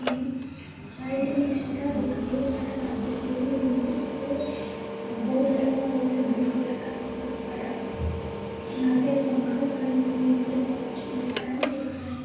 Side में shutter दिख रही है। शटर आधी खुली हुई है ऊपर बोर्ड लगा हुआ है ब्लू कलर का बोहोत बड़ा। यहाँ पे एक अंकल खड़े हुए हैं इन्होने वाच में टाइम देख रहे हैं।